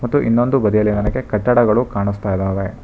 ಮತ್ತು ಇನ್ನೊಂದು ಬದಿಯಲ್ಲಿ ನನಗೆ ಕಟ್ಟಡಗಳು ಕಾಣಸ್ತಾ ಇದಾವೆ.